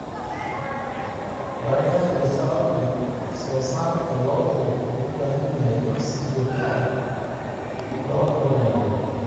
Baahida jirta awgeed, wax-soo-saarka lo'du wuxuu u baahan yahay in si joogto ah loo horumariyo.